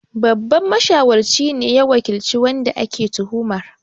Babban mashawarci ne ya wakilci wanda ake tuhumar